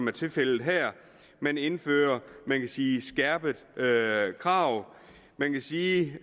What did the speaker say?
er tilfældet her man indfører man kan sige skærpede krav man kan sige